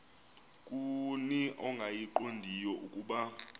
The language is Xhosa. kuni ongayiqondiyo ukuba